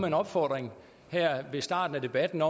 en opfordring her ved starten af debatten